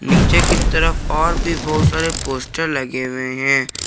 नीचे की तरफ और भी बहुत सारे पोस्टर लगे हुए हैं।